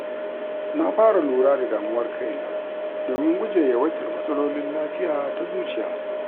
Na fara lura da damuwar kaina domin gujewa yawaitar matsalolin lafiya ta zuciya.